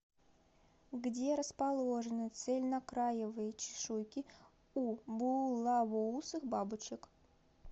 где расположены цельнокраевые чешуйки у булавоусых бабочек